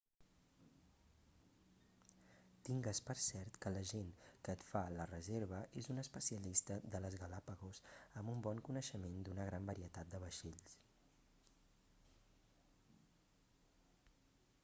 tingues per cert que l'agent que et fa la reserva és un especialista de les galápagos amb un bon coneixement d'una gran varietat de vaixells